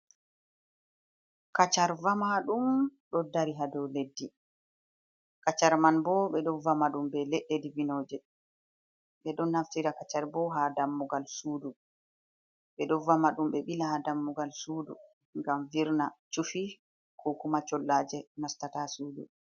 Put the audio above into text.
Kacar vama ɗum, ɗo dari hado leɗɗi, kacar man bo ɓe ɗon vama dum be leɗɗe ɗibinoje, ɓe ɗon naftira kacar bo ha dammugal sudu, ɓe ɗon vama ɗum ɓe ɓila ha dammugal sudu, ngam virna chufi ko kuma chollaje nastata sudu.